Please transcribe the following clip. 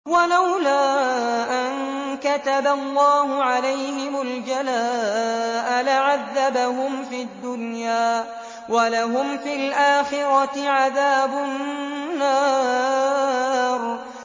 وَلَوْلَا أَن كَتَبَ اللَّهُ عَلَيْهِمُ الْجَلَاءَ لَعَذَّبَهُمْ فِي الدُّنْيَا ۖ وَلَهُمْ فِي الْآخِرَةِ عَذَابُ النَّارِ